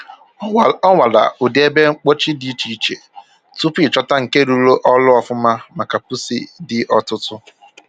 Ọ nwara ụdị ebe mkpochi dị iche iche tupu ịchọta nke rụrụ ọrụ ọfụma maka pusi dị ọtụtụ